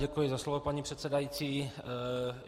Děkuji za slovo, paní předsedající.